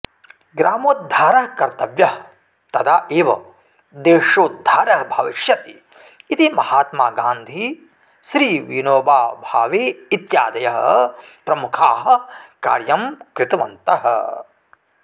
ग्रामोद्धारः कर्तव्यः तदा एव देशोध्दारः भविष्यति इति महात्मागान्धिः श्रीविनोबाभावे इत्यादयः प्रमुखाः कार्यं कृतवन्तः